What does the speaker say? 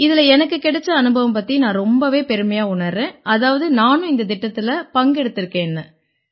இதில எனக்குக் கிடைச்ச அனுபவம் பத்தி நான் ரொம்பவே பெருமையா உணர்றேன் அதாவது நானும் இந்தத் திட்டத்தில பங்கெடுத்திருக்கேன்னு